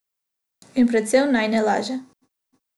In predvsem naj ne laže.